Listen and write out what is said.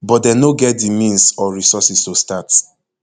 but dem no get di means or resources to start